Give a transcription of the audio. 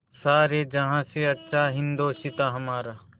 सारे जहाँ से अच्छा हिन्दोसिताँ हमारा